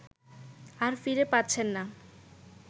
আর ফিরে পাচ্ছেন না